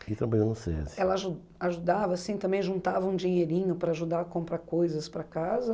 Ela aju Ela ajudava assim, também juntava um dinheirinho para ajudar a comprar coisas para casa?